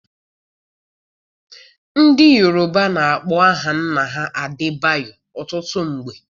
Ndị Yoruba na-akpọ aha nna ha Adebayor ọtụtụ mgbe.